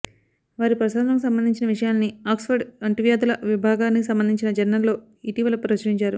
వారి పరిశోధనలకు సంబంధించిన విషయాల్ని ఆక్స్ఫర్డ్ అంటువ్యాధుల విభాగానికి సంబంధించిన జర్నల్లో ఇటీవల ప్రచురించారు